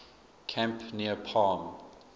camp near palm